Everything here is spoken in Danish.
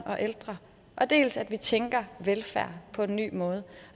og ældre dels at vi tænker velfærd på en ny måde